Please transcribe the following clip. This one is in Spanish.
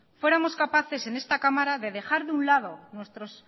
fuéramos capaces en esta cámara de dejar de un lado nuestros